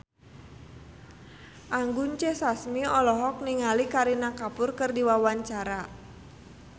Anggun C. Sasmi olohok ningali Kareena Kapoor keur diwawancara